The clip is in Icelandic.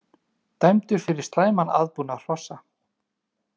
Dæmdur fyrir slæman aðbúnað hrossa